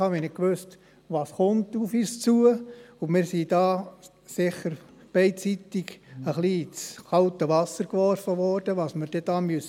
Wir wussten nicht, was auf uns zukommt, und wir wurden da beidseitig sicher etwas ins kalte Wasser geworfen, was wir dann hier erwarten müssen.